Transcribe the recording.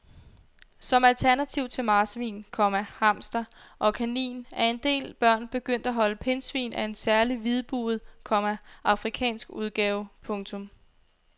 Som alternativ til marsvin, komma hamster og kanin er en del børn begyndt at holde pindsvin af en særlig hvidbuget, komma afrikansk udgave. punktum